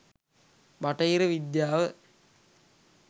බටහිර විද්‍යාව,